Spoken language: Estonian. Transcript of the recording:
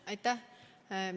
Aitäh!